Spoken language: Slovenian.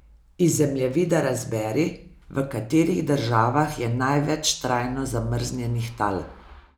Iz zemljevida razberi, v katerih državah je največ trajno zamrznjenih tal.